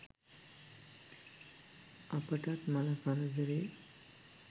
අපටත් මල කරදරේ.